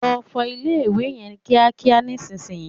Lọ fọ ilé-ìwẹ̀ yẹn kíákíá nísìnyí!